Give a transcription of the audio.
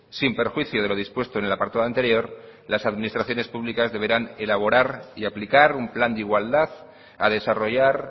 sin perjuicio de lo dispuesto en el apartado anterior las administraciones públicas deberán elaborar y aplicar un plan de igualdad a desarrollar